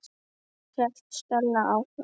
hélt Stella áfram.